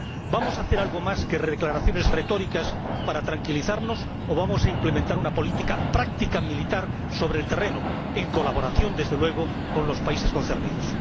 ¿Vamos a hacer algo más que declaraciones retóricas para tranquilizarnos o vamos a implementar una política práctica, militar, sobre el terreno en colaboración, desde luego, con los países concernidos?